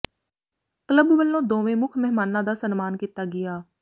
club ਵੱਲੋਂ ਦੋਵੇਂ ਮੁੱਖ ਮਹਿਮਾਨਾਂ ਦਾ ਸਨਮਾਨ ਕੀਤਾ ਗਿਆ